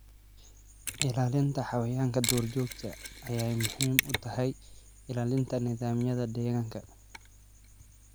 Ilaalinta xayawaanka duurjoogta ah waxay muhiim u tahay ilaalinta nidaamyada deegaanka.